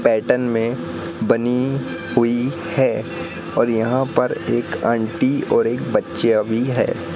Pattern में बनी हुई है और यहां पर एक आंटी और एक बच्चीया भी है।